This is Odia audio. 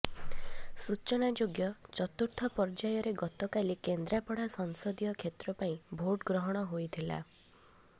ସୂଚନାଯୋଗ୍ୟ ଚତୁର୍ଥ ପର୍ଯ୍ୟାୟରେ ଗତକାଲି କେନ୍ଦ୍ରାପଡା ସଂସଦୀୟ କ୍ଷେତ୍ର ପାଇଁ ଭୋଟ୍ ଗ୍ରହଣ ହୋଇଥିଲା